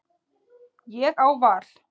Ég á val.